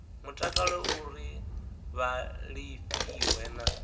mutakalo uri vha lafhiwe na